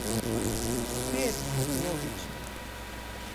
Spet, logično.